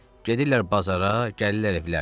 Gedirlər bazara, gəlirlər evlərinə.